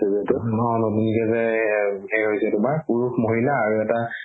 পুৰুষ মহিলা আৰু এটা